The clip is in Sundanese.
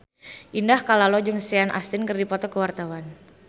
Indah Kalalo jeung Sean Astin keur dipoto ku wartawan